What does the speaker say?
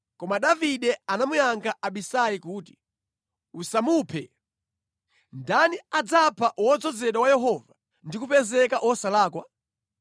Koma Davide anamuyankha Abisai kuti, “Usamuphe! Ndani adzapha wodzozedwa wa Yehova ndi kupezeka wosalakwa?